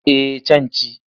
Eh can ci.